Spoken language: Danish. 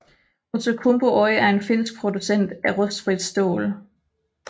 Outokumpu Oyj er en finsk producent af rustfrit stål